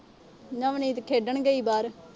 ਨਵਨੀਤ ਖੇਡਣ ਗਈ ਬਾਹਰ।